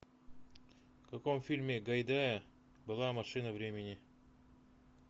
в каком фильме гайдая была машина времени